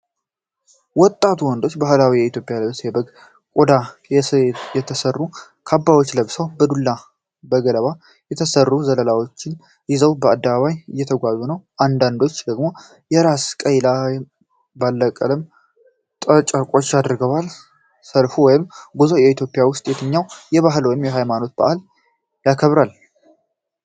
ወጣት ወንዶች በባህላዊ የኢትዮጵያ ልብስና በበግ ቆዳ የተሰሩ ካባዎችን ለብሰው በዱላና በገለባ የተሰሩ ዘለላዎችን ይዘው በአደባባይ እየተጓዙ ነው። አንዳንዶቹ ደግሞ የራስ ቁር ላይ ባለቀለም ጨርቆች አድርገዋል። ሰልፉ ወይም ጉዞ በኢትዮጵያ ውስጥ የትኛውን ባህላዊ ወይም ሃይማኖታዊ በዓል ያከብራል?